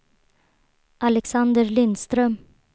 Alexander Lindström